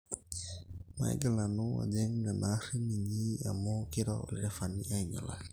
maigil nanun ajing nena aarin inyi amu keiro olderefai ainyelaki